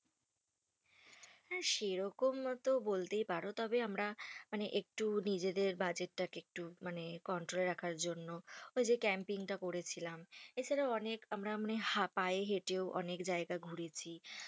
হ্যাঁ সেরকম তো বলতেই পারো। তবে আমরা মানে একটু নিজেদের budget টাকে একটু মানে control এ রাখার জন্য ওই যে camping টা করেছিলাম। এছাড়া অনেক আমরা মানে পায়ে হেঁটেও অনেক জায়গা ঘুরেছি।